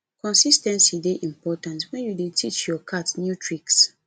consis ten cy dey important wen you dey teach your cat new tricks